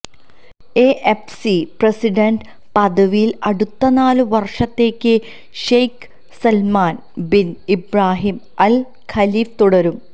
A F C president പദവിയില് അടുത്ത നാല് വര്ഷത്തേക്ക് Sheikh Salman bin Ibrahim Al Khalifa തുടരും